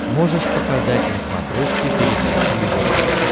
можешь показать на смотрешке передачу его тв